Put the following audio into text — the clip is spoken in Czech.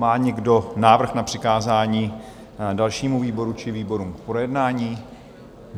Má někdo návrh na přikázání dalšímu výboru či výborům k projednání?